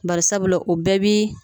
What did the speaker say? Bari sabula o bɛɛ bi